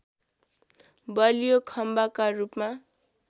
बलियो खम्बाका रूपमा